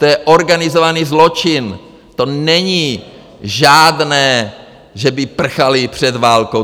To je organizovaný zločin, to není žádné, že by prchali před válkou.